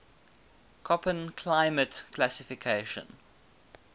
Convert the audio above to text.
koppen climate classification